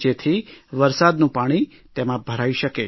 જેથી વરસાદનું પાણી તેમાં ભરાઇ શકે